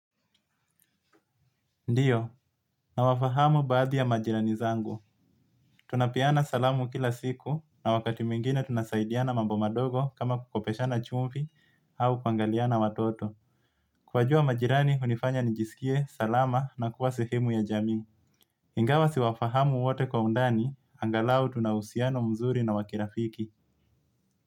Ndio, nawafahamu baadhi ya majirani zangu. Tunapeana salamu kila siku na wakati mwingine tunasaidiana mambo madogo kama kukopeshana chumvi au kuangaliana watoto. Kuwajua majirani, hunifanya nijisikie, salama na kuwa sehemu ya jamii. Ingawa siwafahamu wote kwa undani, angalau tuna uhusiano mzuri na wa kirafiki.